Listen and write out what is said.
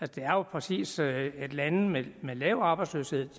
det er jo præcis sådan at lande med lav arbejdsløshed